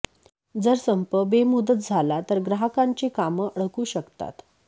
जर संप बेमुदत झाला तर ग्राहकांची कामं अडकू शकतात